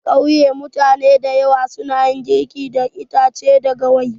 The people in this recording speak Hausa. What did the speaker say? A kauye mutane dayawa suna girki da itache da gawayi.